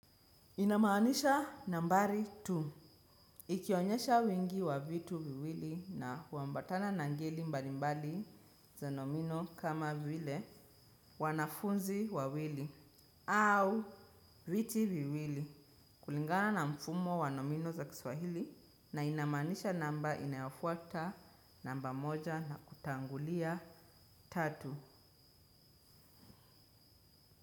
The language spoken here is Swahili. Inamaanisha nambari mbili. Ikionyesha wingi wa vitu viwili na huambatana na ngeli mbali mbali za nomino kama vile wanafunzi wawili au viti viwili kulingana na mfumo wa nomino za kiswahili na inamanisha namba inayofuata namba moja na kutangulia tatu.